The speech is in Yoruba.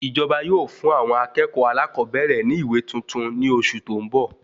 Ìjọba yóò fún àwọn akẹ́kọ̀ọ́ alakobere ní ìwé tuntun ní oṣù tó n bọ